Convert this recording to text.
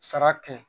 Sara kɛ